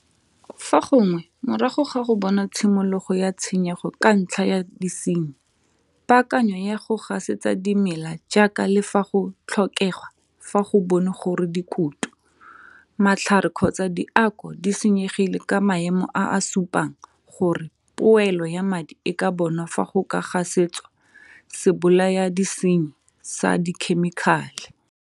Fa gongwe morago ga go bona tshimologo ya tshenyego ka ntlha ya disenyi, paakanyo ya go gasetsa dimela jaaka le fa go tlhokegwa fa go bonwe gore dikutu, matlhare kgotsa diako di senyegile ka maemo a a supang gore poelo ya madi e ka bonwa fa go ka gasetswa sebolayadisenyi sa dikhemikale.